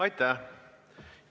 Aitäh!